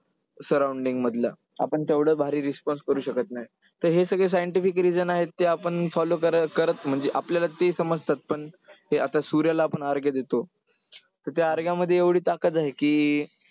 surrounding मधलं. आपण तेवढं भारी response करू शकत नाही. तर हे सगळे scientific reason आहेत ते आपण follow करत म्हणजे आपल्याला ते समजतात पण हे आता सूर्याला आपण अर्घ्य देतो. तर त्या अर्घ्यामध्ये एवढी ताकद आहे की,